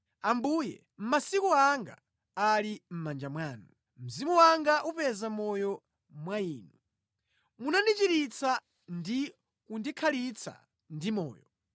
Ambuye, masiku anga ali mʼmanja mwanu. Mzimu wanga upeza moyo mwa Inu. Munandichiritsa ndi kundikhalitsa ndi moyo.